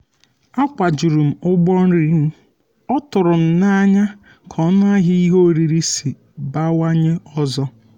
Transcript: akwajuru um m ụgbọ nri m ọ tụrụm um n'anya ka ọnụahịa ihe oriri si bawanye ọzọ um